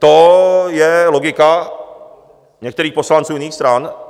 To je logika některých poslanců jiných stran.